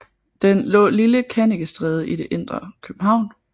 Den lå Lille Kannikestræde i det indre København